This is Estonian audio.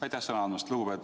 Aitäh sõna andmast!